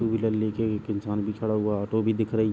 To wheeler लेके भी एक इंसान भी खड़ा हुआ। ऑटो भी दिख रही --